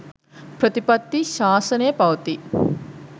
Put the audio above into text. ප්‍රතිපත්ති ශාසනය පවතියි.